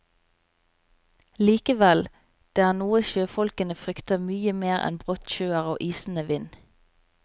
Likevel, det er noe sjøfolkene frykter mye mer enn brottsjøer og isende vind.